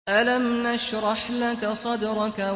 أَلَمْ نَشْرَحْ لَكَ صَدْرَكَ